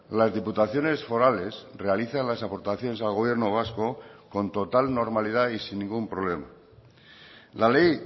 las diputaciones forales realizan las aportaciones al gobierno vasco con total normalidad y sin ningún problema la ley